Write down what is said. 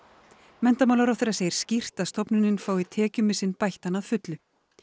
menntamálaráðherra segir skýrt að stofnunin fái tekjumissinn bættan að fullu